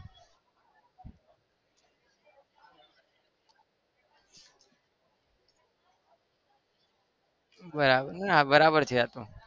બરાબર ના બરાબર છે આતો